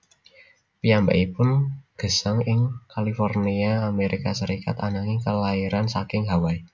Piyambakipun gesang ing California Amerika Serikat ananging kelairan saking Hawai